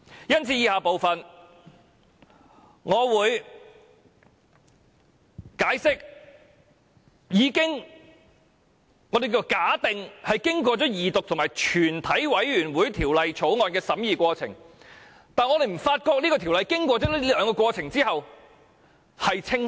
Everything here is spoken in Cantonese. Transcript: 因此，我會在以下部分解釋為何經過二讀和全體委員會的審議過程，我們仍不覺得《條例草案》變得更清晰。